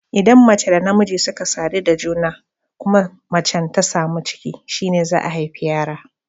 Idan mace da namiji suka sadu da juna, kuma macan ta samu ciki, shine za'a haifi yara.